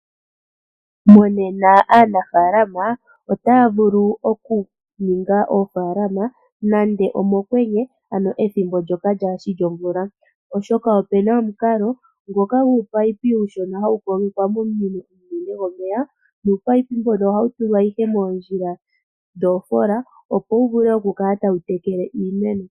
Monena aanafalama otaya vulu okuninga oofalama nande mokwenye, ano ethimbo ndyoka kali shi lyomvula, oshoka ope na omukalo ngoka guunino uushona hawu kogekwa komunino omunene gwomeya. Uunino mboka ohawu tulwa moondjila dhoofola opo wu vule okutekela iimeno.